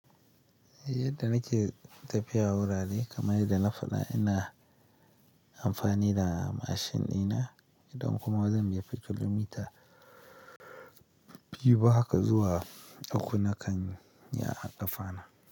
Yadda nake tafiya wurare, kamar yadda na faɗa ina amfani da mashin dina, don kuma zan biya kilomita biyu haka zuwa uku nakan yi a ƙafa na.